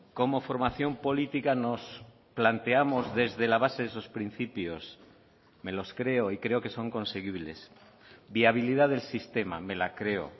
como formación política nos planteamos desde la base de esos principios me los creo y creo que son conseguibles viabilidad del sistema me la creo